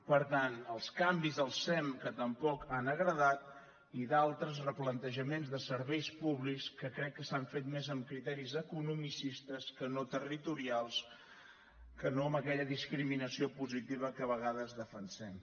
per tant els canvis al sem que tampoc han agradat i d’altres replantejaments de serveis públics que crec que s’han fet més amb criteris economicistes que no territorials que no amb aquella discriminació positiva que a vegades defensem